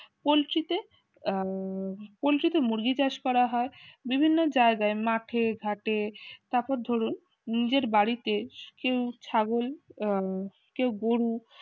কলশিতে উম কলশিতে মুরগি চাষ করা হয় বিভিন্ন জায়গায় মাঠে ঘাটে তারপর ধরুন নিজের বাড়িতে কেউ ছাগল উহ কেউ গরু